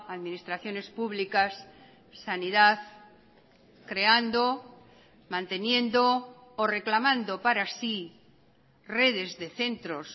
administraciones públicas sanidad creando manteniendo o reclamando para sí redes de centros